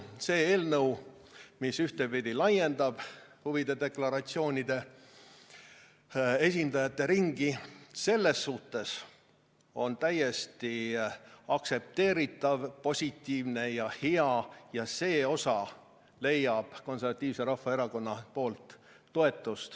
See eelnõu, mis ühtpidi laiendab huvide deklaratsioonide esindajate ringi, selles suhtes on täiesti aktsepteeritav, positiivne ja hea ning see osa leiab Konservatiivse Rahvaerakonna toetuse.